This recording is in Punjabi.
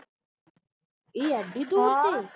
ਇਹ ਏਡੀ ਦੂਰ ਤੇ।